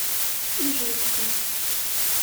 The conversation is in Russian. ижевска